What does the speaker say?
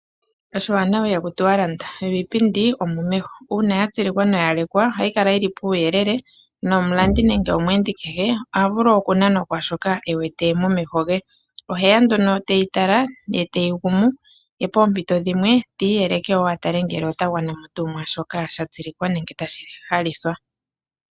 Oshiwanawa ihaku tiwa landa, yo iipindi omomeho. Uuna ya tsilikwa nenge lekwa, ohayi kala yili puuyelele, nomulandi nenge omweendi kehe, oha vulu okunanwa kwaashoka ewete momeho ge. Oheya nduno teyi tala, ye teyi gumu, nopoompito dhimwe ti iyeleke wo atale tuu ngele otagwanamo tuu mwaashoka sha tsilikwa nenge tashi landithwa.